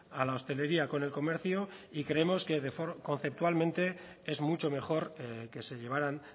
a la hostelería con el comercio y creemos que conceptualmente es mucho mejor que se llevaran